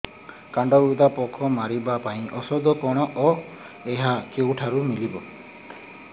କାଣ୍ଡବିନ୍ଧା ପୋକ ମାରିବା ପାଇଁ ଔଷଧ କଣ ଓ ଏହା କେଉଁଠାରୁ ମିଳିବ